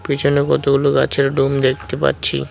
পেছনে কতগুলো গাছের দেখতে পাচ্ছি।